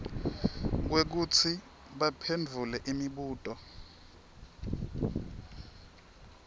kwekutsi baphendvule imibuto